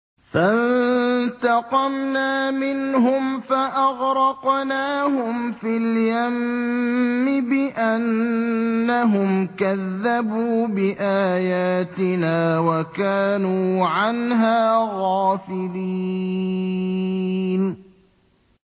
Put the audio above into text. فَانتَقَمْنَا مِنْهُمْ فَأَغْرَقْنَاهُمْ فِي الْيَمِّ بِأَنَّهُمْ كَذَّبُوا بِآيَاتِنَا وَكَانُوا عَنْهَا غَافِلِينَ